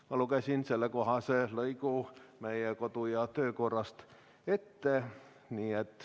Ma lugesin sellekohase lõigu meie kodu- ja töökorrast ette.